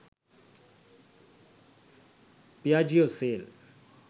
piaggio sale